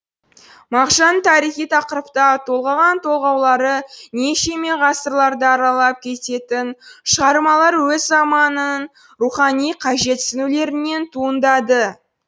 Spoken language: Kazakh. мағжан тарихи тақырыпта толғаған толғаулары нешеме ғасырларды аралап кететін шығармалары өз заманының рухани қажетсінулерінен туындады